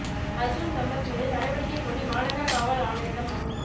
அா்ஜுன் சம்பத் மீது நடவடிக்கை கோரி மாநகர காவல் ஆணையரிடம் மனு